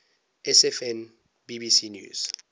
sfn bbc news